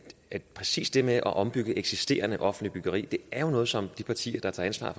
at præcis det med at ombygge eksisterende offentligt byggeri jo er noget som de partier der tager ansvar